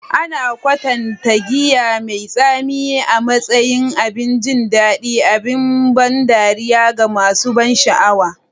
Ana kwatanta giya mai tsami a matsayin abin jin daɗi, abin ban dariya ga masu ban sha'awa.